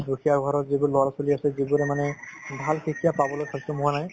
দুখীয়া ঘৰৰ যিবোৰ ল'ৰা-ছোৱালী আছে যিবোৰে মানে ভাল শিক্ষা পাবলৈ সক্ষম হোৱা নাই